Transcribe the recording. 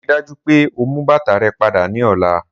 Rii daju pe o mu bata rẹ pada ni ọla